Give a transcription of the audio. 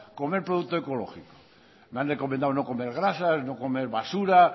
comer producto ecológico me han recomendado no comer grasas no comer basura